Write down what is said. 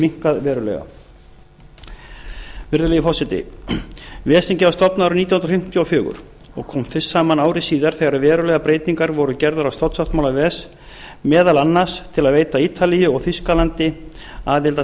minnkað verulega virðulegi forseti ves þingið var stofnað árið nítján hundruð fimmtíu og fjögur og kom fyrst saman ári síðar þegar verulegar breytingar voru gerðar á stofnsáttmála ves meðal annars til að veita ítalíu og þýskalandi aðild að